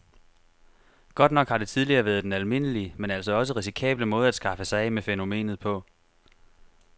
Godt nok har det tidligere været den almindelige, men altså også risikable måde at skaffe sig af med fænomenet på.